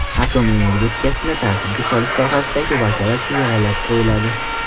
Atom energetikasini tartibga solish sohasidagi vakolat chegaralab qo‘yiladi.